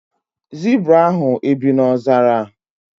Zibra ahụ e bi na ọzara?